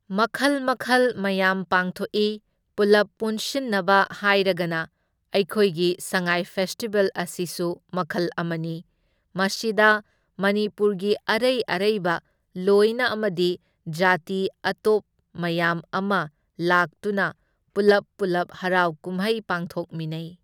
ꯃꯈꯜ ꯃꯈꯜ ꯃꯌꯥꯝ ꯄꯥꯡꯊꯣꯛꯢ, ꯄꯨꯜꯂꯞ ꯄꯨꯟꯁꯤꯟꯅꯕ ꯍꯥꯏꯔꯒꯅ ꯑꯩꯈꯣꯏꯒꯤ ꯁꯉꯥꯏ ꯐꯦꯁꯇꯤꯚꯦꯜ ꯑꯁꯤꯁꯨ ꯃꯈꯜ ꯑꯃꯅꯤ, ꯃꯁꯤꯗ ꯃꯅꯤꯄꯨꯔꯒꯤ ꯑꯔꯩ ꯑꯔꯩꯕ ꯂꯣꯏꯅ ꯑꯃꯗꯤ ꯖꯥꯇꯤ ꯑꯇꯣꯞꯄ ꯃꯌꯥꯝ ꯑꯃ ꯂꯥꯛꯇꯨꯅ ꯄꯨꯜꯂꯞ ꯄꯨꯜꯂꯞ ꯍꯔꯥꯎ ꯀꯨꯝꯍꯩ ꯄꯥꯡꯊꯣꯛꯃꯤꯟꯅꯩ꯫